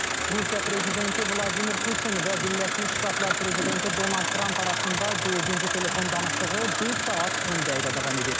Rusiya prezidenti Vladimir Putin və Birləşmiş Ştatlar prezidenti Donald Tramp arasında dördüncü telefon danışığı bir saat 10 dəqiqə davam edib.